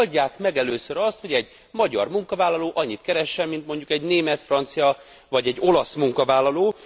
Hát oldják meg először azt, hogy egy magyar munkavállaló annyit keressen, mint mondjuk egy német, francia vagy egy olasz munkavállaló.